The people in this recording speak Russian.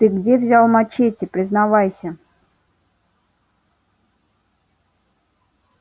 ты где взял мачете признавайся